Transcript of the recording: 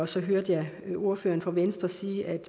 så hørte jeg ordføreren fra venstre sige at